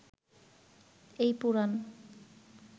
এই পুরাণ